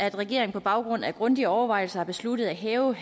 at regeringen på baggrund af grundige overvejelser har besluttet at hæve